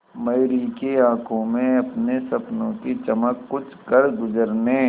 मयूरी की आंखों में अपने सपनों की चमक कुछ करगुजरने